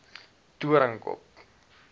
doornkop